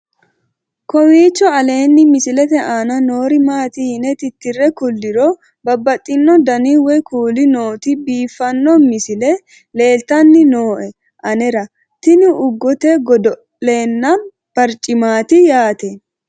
kowiicho aleenni misilete aana noori maati yine titire kulliro babaxino dani woy kuuli nooti biiffanno misile leeltanni nooe anera tino ugete godo'lenna barcimaati yaate